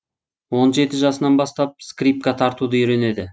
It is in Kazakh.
он жеті жасынан бастап скрипка тартуды үйренеді